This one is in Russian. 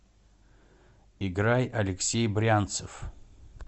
играй алексей брянцев